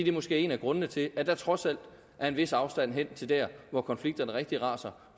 er måske en af grundene til at der trods alt er en vis afstand hen til der hvor konflikterne rigtig raser